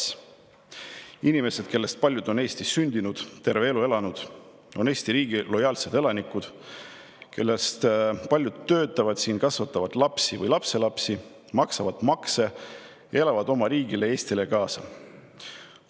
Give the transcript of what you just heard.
Need inimesed, kellest paljud on Eestis sündinud ja terve elu siin elanud, on Eesti riigile lojaalsed elanikud, kellest paljud töötavad siin, kasvatavad lapsi või lapselapsi, maksavad makse ning elavad oma riigile, Eestile kaasa.